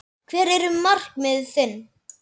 Hver eru markmið þín?